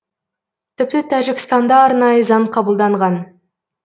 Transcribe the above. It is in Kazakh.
тіпті тәжікстанда арнайы заң қабылданған